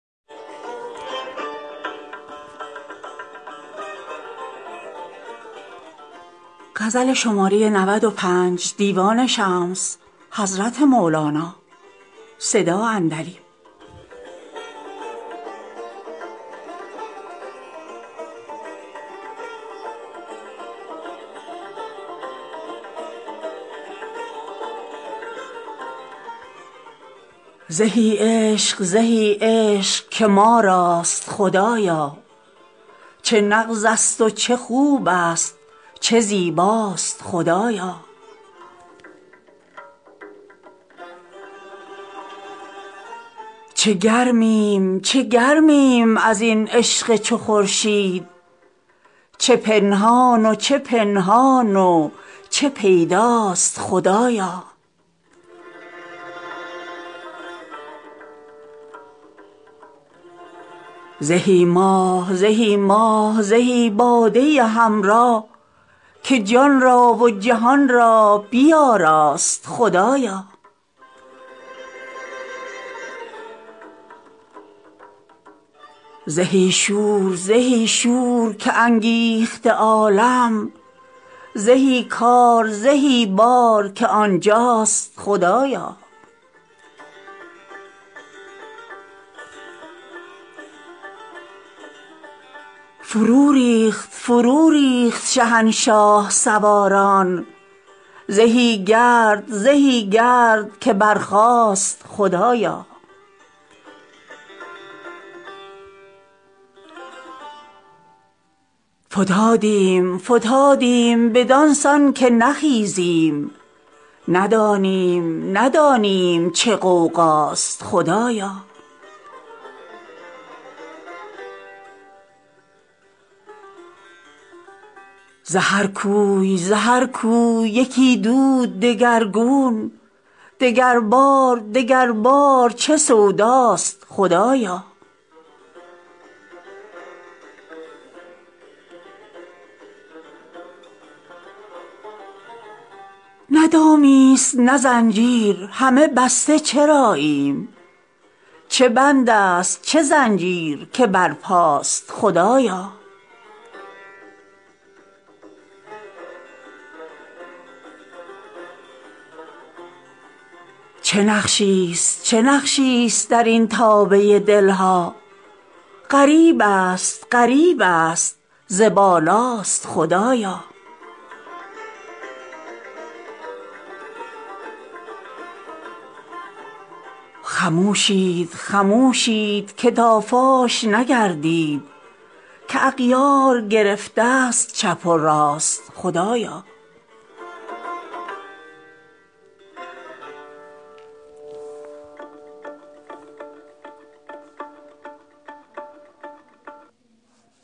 زهی عشق زهی عشق که ما راست خدایا چه نغزست و چه خوبست و چه زیباست خدایا چه گرمیم چه گرمیم از این عشق چو خورشید چه پنهان و چه پنهان و چه پیداست خدایا زهی ماه زهی ماه زهی باده همراه که جان را و جهان را بیاراست خدایا زهی شور زهی شور که انگیخته عالم زهی کار زهی بار که آن جاست خدایا فروریخت فروریخت شهنشاه سواران زهی گرد زهی گرد که برخاست خدایا فتادیم فتادیم بدان سان که نخیزیم ندانیم ندانیم چه غوغاست خدایا ز هر کوی ز هر کوی یکی دود دگرگون دگربار دگربار چه سوداست خدایا نه دامیست نه زنجیر همه بسته چراییم چه بندست چه زنجیر که برپاست خدایا چه نقشیست چه نقشیست در این تابه دل ها غریبست غریبست ز بالاست خدایا خموشید خموشید که تا فاش نگردید که اغیار گرفتست چپ و راست خدایا